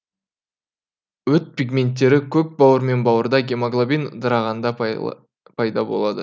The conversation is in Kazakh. өт пигменттері көк бауыр мен бауырда гемоглобин ыдырағанда пайда болады